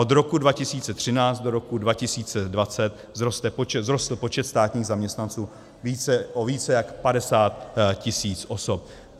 Od roku 2013 do roku 2020 vzroste počet státních zaměstnanců o více jak 50 tisíc osob.